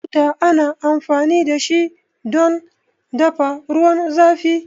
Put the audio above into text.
Buta ana amfani dashi don dafa ruwan zafi